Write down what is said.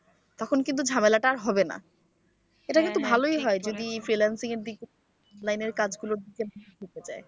তখন কিন্তু ঝামেলাটা আর হবে না এটা কিন্তু ভালই হয় যদি free lancing এর দিকে free lancing এর কাজ গুলোর দিকে ঝুকে যায়।